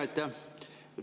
Aitäh!